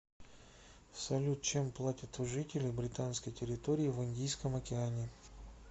салют чем платят у жителей британской территории в индийском океане